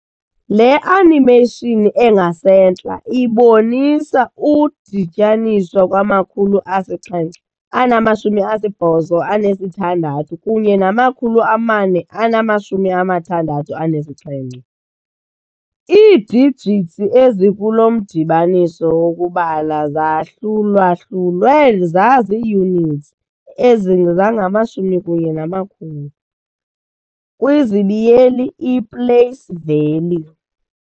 Le animation engasentla ibonisa udityaniswa kwamakhulu asixhenxe anamashumi asibhozo anesithandathu kunye namakhulu amane anamashumi amathandathu anesixhenxe, ii-digits ezikulomdibaniso wokubala zahlulwahlulwe zazii-units, zangamashumi kunye namakhulu, i-place value.